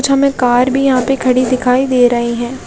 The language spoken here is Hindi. हमे यहाँ कार भी यहाँ पे खड़ी दिखाई दे रही है ।